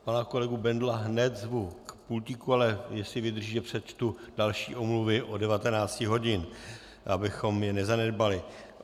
Pana kolegu Bendla hned zvu k pultíku - ale jestli vydržíte, přečtu další omluvy od 19 hodin, abychom je nezanedbali.